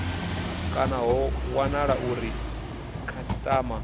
kana ho wanala uri khasitama